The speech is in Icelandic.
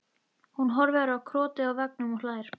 Hún horfir á krotið á veggnum og hlær.